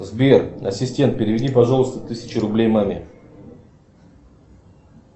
сбер ассистент переведи пожалуйста тысячу рублей маме